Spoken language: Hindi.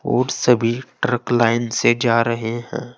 और सभी ट्रक लाइन से जा रहे हैं।